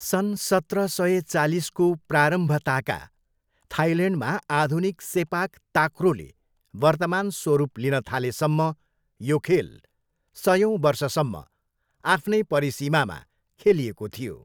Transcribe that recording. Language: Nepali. सन् सत्र सय चालिसको प्रारम्भताका थाइल्यान्डमा आधुनिक सेपाक ताक्रोले वर्तमान स्वरूप लिन थालेसम्म यो खेल सयौँ वर्षसम्म आफ्नै परिसीमामा खेलिएको थियो।